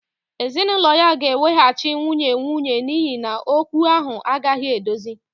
Ezinụlọ ya ga-eweghachi nwunye nwunye n'ihi na okwu ahụ agaghị edozi